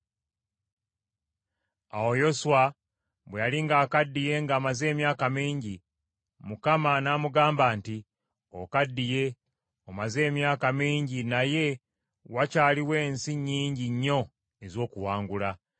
Awo Yoswa bwe yali ng’akaddiye ng’amaze emyaka mingi. Mukama n’amugamba nti, “Okaddiye omaze emyaka mingi naye, wakyaliwo ensi nnyingi nnyo ez’okuwangula.